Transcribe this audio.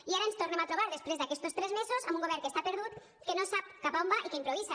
i ara ens tornem a trobar després d’aquestos tres mesos amb un govern que està perdut que no sap cap a on va i que improvisa